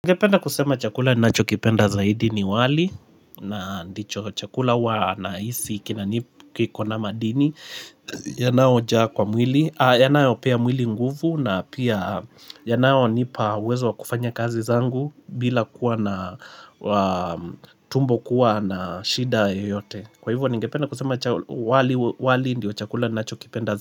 Ningependa kusema chakula ninacho kipenda zaidi ni wali na ndicho chakula huwa naisi kinanip kiko na madini yanaojaa kwa mwili yanayopea mwili nguvu na pia yanayonipa uwezo wa kufanya kazi zangu bila kuwa na tumbo kuwa na shida yoyote kwa hivyo ningependa kusema wali ndo chakula ninachokipenda zaidi.